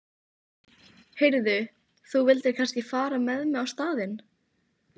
Heyrðu, þú vildir kannski fara með mig á staðinn?